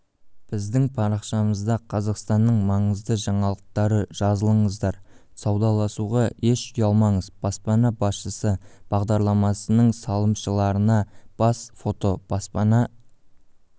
біздің парақшамызда қазақстанның маңызды жаңалықтары жазылыңыздар саудаласуға еш ұялмаңыз баспана басшысы бағдарламасының салымшыларына бас фото баспана